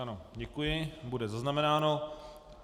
Ano, děkuji, bude zaznamenáno.